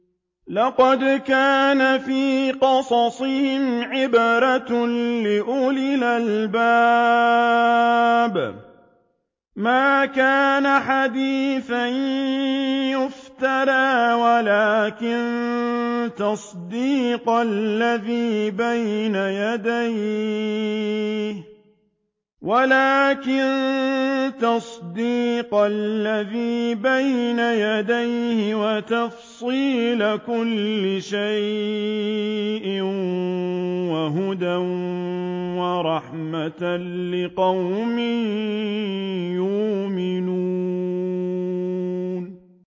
لَقَدْ كَانَ فِي قَصَصِهِمْ عِبْرَةٌ لِّأُولِي الْأَلْبَابِ ۗ مَا كَانَ حَدِيثًا يُفْتَرَىٰ وَلَٰكِن تَصْدِيقَ الَّذِي بَيْنَ يَدَيْهِ وَتَفْصِيلَ كُلِّ شَيْءٍ وَهُدًى وَرَحْمَةً لِّقَوْمٍ يُؤْمِنُونَ